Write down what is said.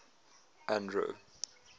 andro